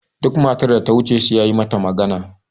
duk matar da ta wuce sai ya yi mata magana